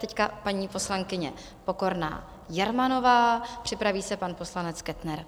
Teď paní poslankyně Pokorná Jermanová, připraví se pan poslanec Kettner.